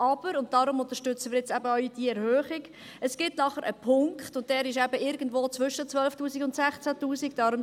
Aber, und deswegen unterstützen wir jetzt auch diese Erhöhung, es gibt danach einen Punkt – dieser ist eben irgendwo zwischen 12’000 und 16’000 Franken;